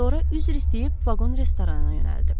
Sonra üzr istəyib vaqon restoranına yönəldi.